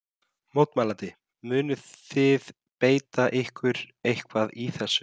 Mótmælandi: Munið þið beita ykkur eitthvað í þessu?